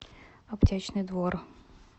аптечный двор